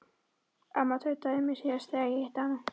Amma tautaði í mér síðast þegar ég hitti hana.